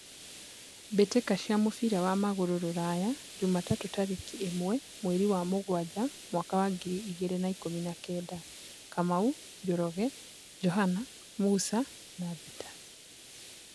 Mbĩ tĩ ka cia mũbira wa magũrũ Ruraya Jumatatũ tarĩ ki ĩ mwe mweri wa mũgwanja mwaka wa ngiri igĩ rĩ na ikũmi na kenda: Kamau, Njoroge, Johana, Musa, Bita